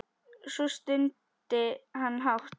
Svo stundi hann hátt.